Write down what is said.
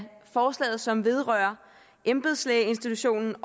forslaget som vedrører embedslægeinstitutionen